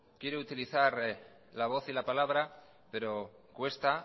quiero utilizar la voz y la palabra pero cuesta